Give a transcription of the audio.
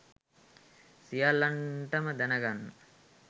සියල්ලන්ටම දැනගන්න